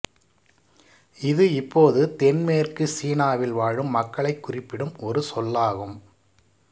இது இப்போது தென்மேற்கு சீனாவில் வாழும் மக்களைக் குறிப்பிடும் ஒரு சொல்லாகும்